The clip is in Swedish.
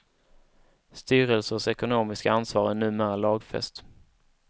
Styrelsers ekonomiska ansvar är numera lagfäst.